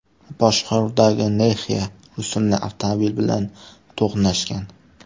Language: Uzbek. boshqaruvidagi Nexia rusumli avtomobil bilan to‘qnashgan.